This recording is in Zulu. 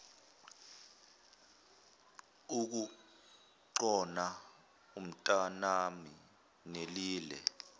ukugcona umntanami nelile